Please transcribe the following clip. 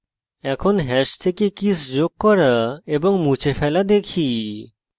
এখন hash থেকে keys যোগ করা এবং মুছে ফেলা দেখি